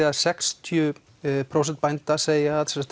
að sextíu prósent bænda segja að